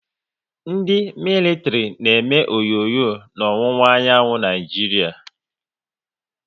Ndị militiri na eme onyonyo n'owuwa anyanwụ Naịjiria.